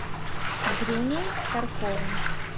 дрюней старковым